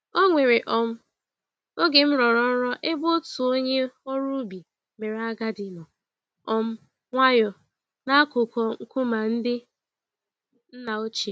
Onwere um oge m rọrọ nrọ ebe otu onye ọrụ ubi mèrè agadi, nọ um nwayọ n'akụkụ nkume ndị nna ochie.